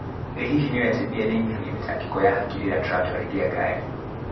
Ĩ hihi nĩ ũwĩ atĩ mbĩya nĩ ĩnyihagia mĩtangĩko ya hakiri rĩrĩa tũratwarithia ngari?